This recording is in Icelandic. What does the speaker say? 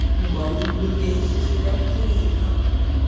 Um aldur Geysis er ekki vitað.